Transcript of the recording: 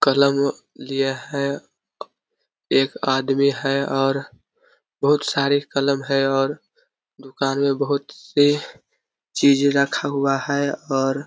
कलम लिया है एक आदमी है और बहुत सारी कलम है और दुकान में बहुत से चीजें रखा हुआ है और--